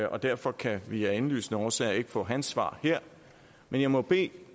og derfor kan vi af indlysende årsager ikke få hans svar her men jeg må bede